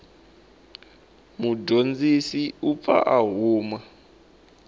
mudyondzi u pfa a huma